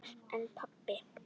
En pabbi.